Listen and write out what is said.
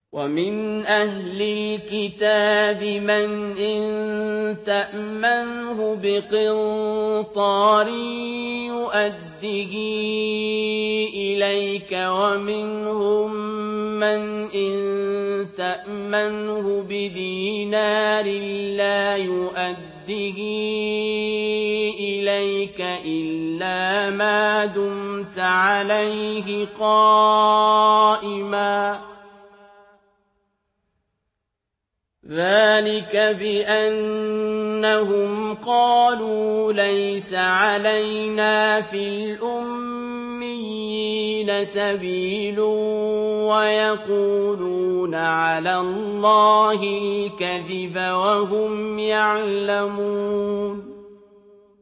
۞ وَمِنْ أَهْلِ الْكِتَابِ مَنْ إِن تَأْمَنْهُ بِقِنطَارٍ يُؤَدِّهِ إِلَيْكَ وَمِنْهُم مَّنْ إِن تَأْمَنْهُ بِدِينَارٍ لَّا يُؤَدِّهِ إِلَيْكَ إِلَّا مَا دُمْتَ عَلَيْهِ قَائِمًا ۗ ذَٰلِكَ بِأَنَّهُمْ قَالُوا لَيْسَ عَلَيْنَا فِي الْأُمِّيِّينَ سَبِيلٌ وَيَقُولُونَ عَلَى اللَّهِ الْكَذِبَ وَهُمْ يَعْلَمُونَ